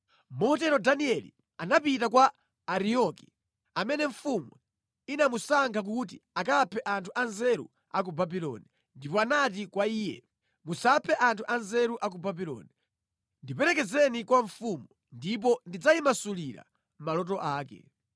Motero Danieli anapita kwa Ariyoki, amene mfumu inamusankha kuti akaphe anthu anzeru a ku Babuloni, ndipo anati kwa iye, “Musaphe anthu anzeru a ku Babuloni. Ndiperekezeni kwa mfumu, ndipo ndidzayimasulira maloto ake.”